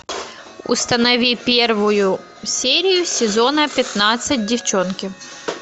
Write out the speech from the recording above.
установи первую серию сезона пятнадцать девчонки